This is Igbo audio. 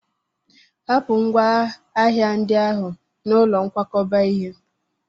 Hapụ ngwa ahịa ndị ahụ n'ụlọ nkwakọba ihe!